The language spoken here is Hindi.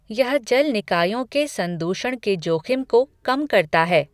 यह जल निकायों के संदूषण के जोख़िम को कम करता है।